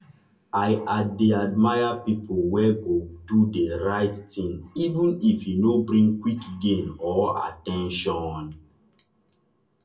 i dey admire people wey go do the right thing even if e no bring quick gain or at ten tion.